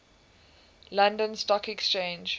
london stock exchange